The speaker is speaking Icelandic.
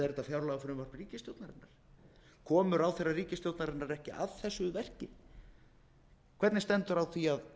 fjárlagafrumvarp ríkisstjórnarinnar komu ráðherrar ríkisstjórnarinnar ekki að þessu verki hvernig stendur á því að